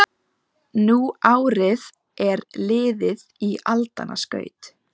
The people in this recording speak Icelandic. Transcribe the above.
Nú árið er liðið í aldanna skaut